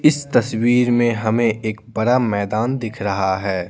इस तस्वीर में हमें एक बड़ा मैदान दिख रहा है।